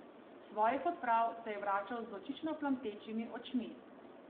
S svojih odprav se je vračal z vročično plamtečimi očmi.